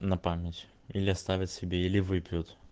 на память или оставить себе или выпьют